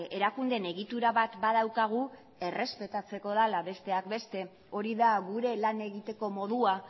erakundeen egitura bat badaukagu errespetatzeko dela besteak beste hori da gure lan egiteko modua